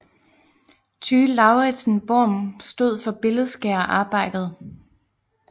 Tyge Lauritsen Worm stod for billedskærerarbejdet